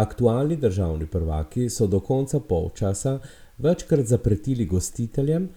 Aktualni državni prvaki so do konca polčasa večkrat zapretili gostiteljem,